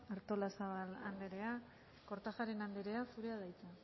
artolazabal andrea kortajarena andrea zurea da hitza